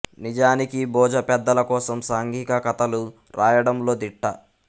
నిజానికి బోజ పెద్దల కోసం సాంఘిక కథ లు రాయడంలో దిట్ట